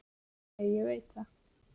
Nei, ég veit það.